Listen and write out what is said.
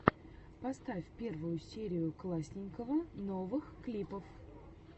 поставь первую серию классненького новых клипов